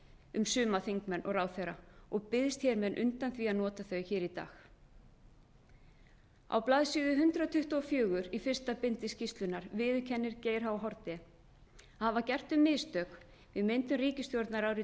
um suma þingmenn og ráðherra og biðst hér með undan því að nota þau hér í dag á blaðsíðu hundrað tuttugu og fjögur í fyrsta bindi skýrslunnar viðurkennir geir h haarde að hafa gert þau mistök við myndun ríkisstjórnar árið tvö þúsund